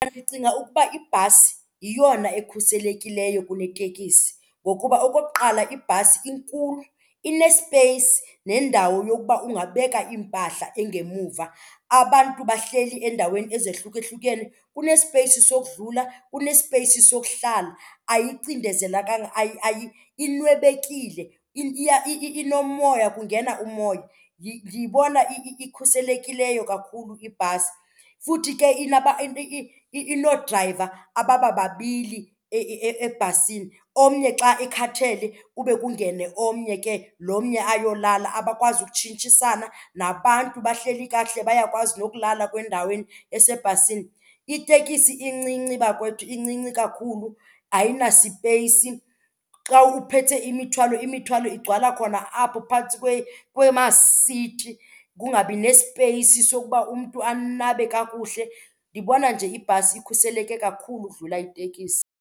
Ndicinga ukuba ibhasi yiyona ekhuselekileyo kuneteksi ngokuba okokuqala ibhasi inkulu, inesipeyisi nendawo yokuba ungabeka iimpahla engemuva. Abantu bahleli endaweni ezahlukahlukene kunesipeyisi sokudlula, kunesipeyisi sokuhlala, ayicindezelekanga inwebekile inomoya kungena umoya. Ndiyibona ikhuselekileyo kakhulu ibhasi futhi ke inoodrayiva ababababili ebhasini, omnye xa ekhathele kube kungene omnye ke lo omnye ayolala, abakwazi ukutshintshisana. Nabantu bahleli kakuhle bayakwazi nokulala kwendaweni esebhasini. Itekisi incinci bakwethu, incinci kakhulu ayinasipeyisi. Xa uphethe imithwalo, imithwalo igcwala khona apho phantsi kwemasithi kungabi nesipeyisi sokuba umntu anabe kakuhle. Ndibona nje ibhasi ikhuseleke kakhulu udlula itekisi.